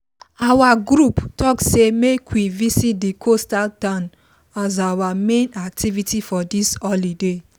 our group talk say make we visit the coastal town as our main activity for this holiday